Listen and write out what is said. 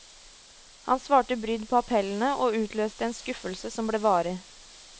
Han svarte brydd på appellene, og utløste en skuffelse som ble varig.